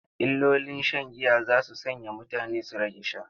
Illolin shan giya za su sanya mutane su rage sha.